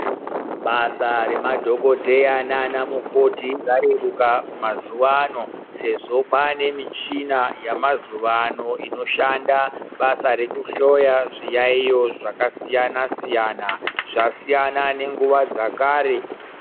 Basa remadhokodheya nanamukoti rareruka mazuwano sezvo kwaane michina yamazuwano inoshanda basa rekuhloya zviyaiyo zvakasiyana siyana. Zvasiyana nenguwa dzakare.